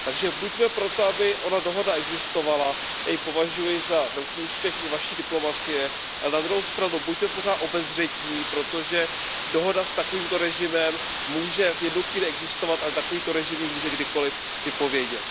Takže buďme pro to, aby ona dohoda existovala, já ji považuji za velký úspěch i Vaší diplomacie, ale na druhou stranu, buďte pořád obezřetní, protože dohoda s takovýmto režimem může v jednu chvíli existovat, ale takovýto režim ji může kdykoliv vypovědět.